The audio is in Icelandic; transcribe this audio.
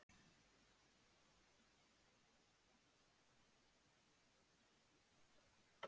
Magnús Hlynur Hreiðarsson: Hvers konar lausn gæti það orðið?